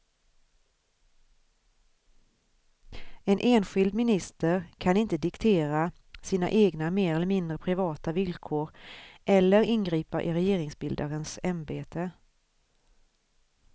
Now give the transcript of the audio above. En enskild minister kan inte diktera sina egna mer eller mindre privata villkor eller ingripa i regeringsbildarens ämbete.